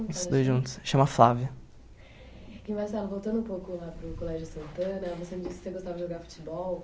Os dois juntos. Chama Flávia. E Marcelo, voltando um pouco lá para o Colégio Santana, você me disse que você gostava de jogar futebol.